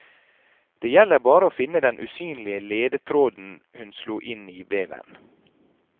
Det gjelder bare å finne den usynlige ledetråden hun slo inn i veven.